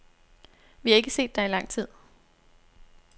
Vi har ikke set dig i lang tid.